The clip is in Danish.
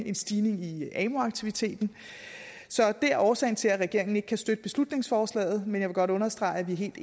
en stigning igen i amu aktiviteten så det er årsagen til at regeringen ikke kan støtte beslutningsforslaget men jeg vil godt understrege at vi er helt